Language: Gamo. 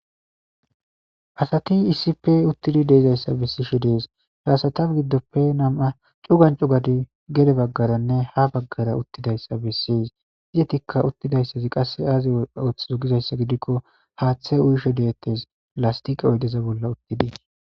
Asati issipe uttidi de'izaysa be'ishe de'os ha asata gidope namu cugsn cugati gede bagara ha bagars uttidaysa besses izzetika uttidays betes qasse azzi othizo gixaysa gidiko hathe uyishe de'etes lastike oyde bolla uttidi